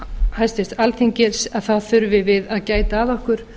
háttvirtrar alþingis að þá þurfum við að gæta að okkur